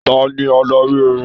Tani adarí orin?